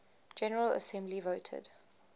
general assembly voted